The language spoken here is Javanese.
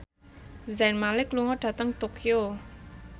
Zayn Malik lunga dhateng Tokyo